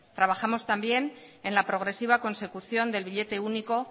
trabajamos también en la progresiva consecución del billete único